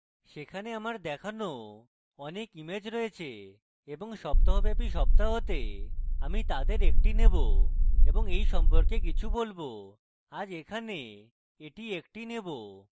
সেখানে আমার দেখানো অনেক ইমেজ রয়েছে এবং সপ্তাহব্যাপী সপ্তাহতে আমি তাদের একটি নেবো এবং এই সম্পর্কে কিছু বলবো আজ এখানে এটি একটি নেবো